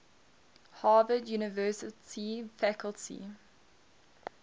harvard university faculty